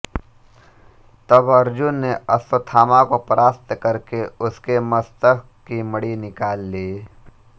तब अर्जुन ने अश्वत्थामा को परास्त करके उसके मस्तक की मणि निकाल ली